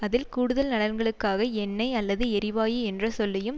அதில் கூடுதல் நலன்களுக்காக எண்ணெய் அல்லது எரிவாயு என்ற சொல்லையும்